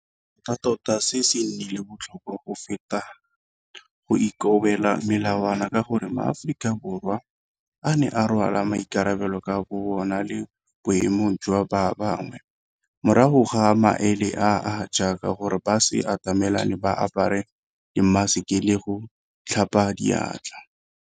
Tota se se nnileng botlhokwa go feta go ikobela melawana ka gore, Maaforika Borwa a ne a rwala maikarabelo ka bobona le boemong jwa ba bangwe, morago ga maele a a jaaka gore ba se atamelane, ba apare dimmaseke le go tlhapa diatla.